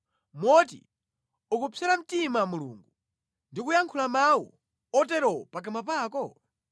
moti ukupsera mtima Mulungu ndi kuyankhula mawu otero pakamwa pako?